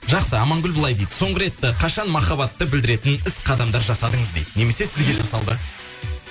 жақсы амангүл былай дейді соңғы рет қашан махаббатты білдіретін іс қадамдар жасадыңыз дейді немесе сізге жасалды